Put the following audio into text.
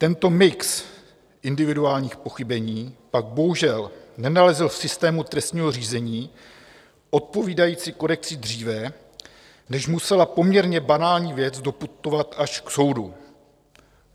Tento mix individuálních pochybení pak bohužel nenalezl v systému trestního řízení odpovídající korekci dříve, než musela poměrně banální věc doputovat až k soudu.